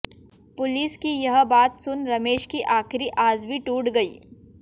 police की यह बात सुन रमेश की आखिरी आस भी टूट गई